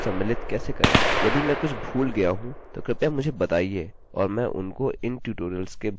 यदि मैं कुछ भूल गया हूँ तो कृपया मुझे बताइए और मैं उनको इन ट्यूटोरियल्स के भागों के रूप में जोड़ दूँगा